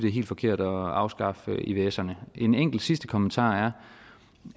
er helt forkert at afskaffe ivserne en enkelt sidste kommentar er